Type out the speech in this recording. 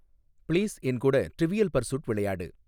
please என் கூட Trivial Pursuit விளையாடு